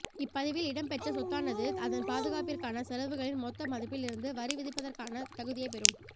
இப்பதிவில் இடம் பெற்ற சொத்தானது அதன் பாதுகாப்பிற்கான செலவுகளின் மொத்த மதிப்பில் இருந்து வரி விதிப்பதற்கான தகுதியைப்பெறும்